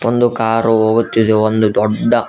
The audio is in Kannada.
ಒಂದು ಕಾರು ಹೋಗುತ್ತಿದೆ ಒಂದು ದೊಡ್ಡ--